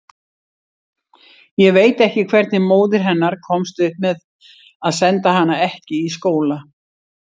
Ég veit ekki hvernig móðir hennar komst upp með að senda hana ekki í skóla.